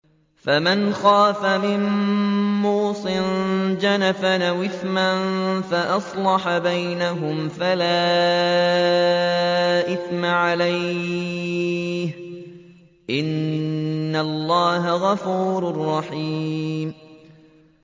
فَمَنْ خَافَ مِن مُّوصٍ جَنَفًا أَوْ إِثْمًا فَأَصْلَحَ بَيْنَهُمْ فَلَا إِثْمَ عَلَيْهِ ۚ إِنَّ اللَّهَ غَفُورٌ رَّحِيمٌ